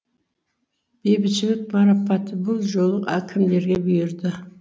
бейбітшілік марапаты бұл жолы әкімдерге бұйырды